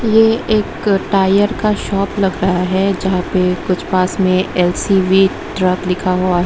ये एक टायर का शॉप लग रहा है जहां पे कुछ पास में एल_सी_वी ट्रक लिखा हुआ है।